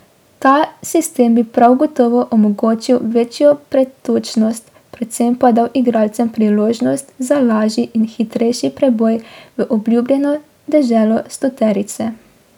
Ta sistem bi prav gotovo omogočal večjo pretočnost, predvsem pa dal igralcem priložnost za lažji in hitrejši preboj v obljubljeno deželo stoterice.